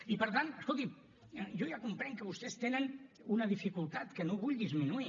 i per tant escolti’m jo ja comprenc que vostès tenen una dificultat que no vull disminuir